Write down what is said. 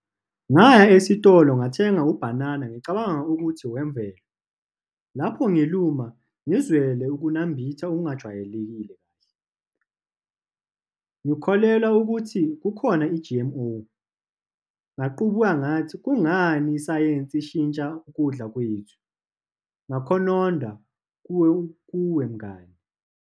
Ngaya esitolo, ngathenga ubhanana, ngicabanga ukuthi owemvelo. Lapho ngiluma, ngizwele ukunambitha okungajwayelekile. Ngikholelwa ukuthi kukhona i-G_M_O. Ngaqubuka ngathi, kungani isayensi ishintsha ukudla kwethu. Ngakhononda kuwe mngani.